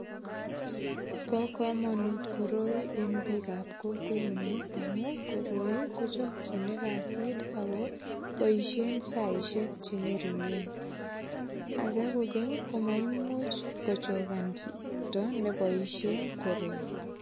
Bo kamanut koroi eng biikab kokwenyu amu koroi kochakchini kasit ago boisien saishek che ngeringen. Age kogeny ko maimuch kochogan chito ne boisien koroi